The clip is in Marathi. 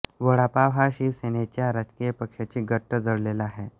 वडापाव हा शिवसेनेच्या राजकीय पक्षाशी घट्ट जोडलेला आहे